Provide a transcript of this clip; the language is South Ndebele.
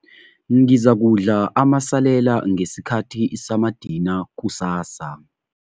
Ngizakudla amasalela ngesikhathi samadina kusasa.